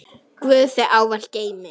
Guð þig ávallt geymi.